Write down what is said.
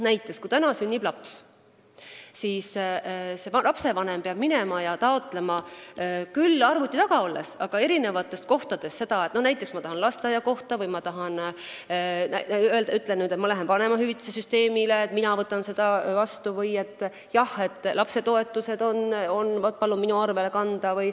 Näiteks, kui sünnib laps, siis saab lapsevanem praegu asju ajada küll arvuti taga olles, aga eri kohtadest, sõltuvalt sellest, kas ta tahab taotleda sünnitunnistust, lapsele lasteaiakohta, vanemahüvitist või palub lapsetoetuse oma kontole kanda.